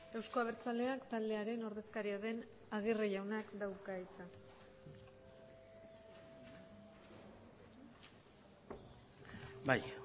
euzko abertzaleak taldearen ordezkaria den agirre jaunak dauka hitza bai